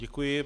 Děkuji.